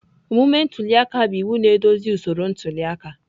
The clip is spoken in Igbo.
Omume ntuli aka bụ iwu na-eduzi usoro ntuli aka.